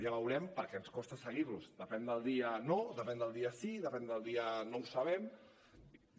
ja veurem perquè ens costa seguir los depèn del dia no depèn del dia sí depèn del dia no ho sabem